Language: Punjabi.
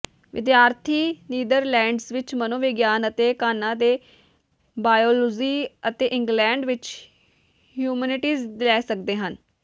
ਵਿਦਿਆਰਥੀ ਨੀਦਰਲੈਂਡਜ਼ ਵਿਚ ਮਨੋਵਿਗਿਆਨ ਅਤੇ ਘਾਨਾ ਦੇ ਬਾਇਓਲੋਜੀ ਅਤੇ ਇੰਗਲੈਂਡ ਵਿਚ ਹਿਊਮੈਨੀਟੀਜ਼ ਲੈ ਸਕਦੇ ਹਨ